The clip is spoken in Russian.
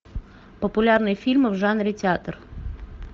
популярные фильмы в жанре театр